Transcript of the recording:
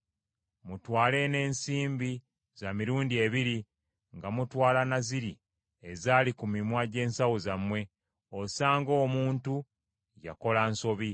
Mutwale n’ensimbi za mirundi ebiri nga mutwala na ziri ezaali ku mimwa gye nsawo zammwe, osanga omuntu yakola nsobi.